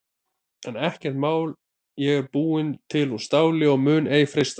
En ekkert mál ég er búin til úr STÁLI og mun ei freistast.